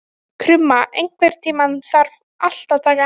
Krumma, einhvern tímann þarf allt að taka enda.